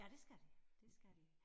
Ja det skal de det skal de